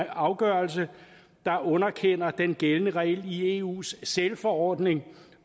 afgørelse der underkender den gældende regel i eus sælforordning